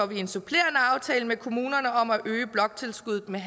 vi en supplerende aftale med kommunerne om at øge bloktilskuddet med